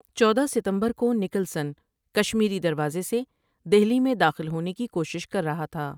چودہ ستمبر کو نکلسن کشمیری دروازے سے دہلی میں داخل ہونے کی کوشش کر رہا تھا ۔